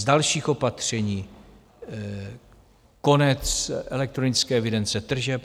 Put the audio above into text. Z dalších opatření - konec elektronické evidence tržeb.